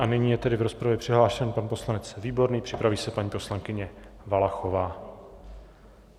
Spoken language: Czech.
A nyní je tedy v rozpravě přihlášen pan poslanec Výborný, připraví se paní poslankyně Valachová.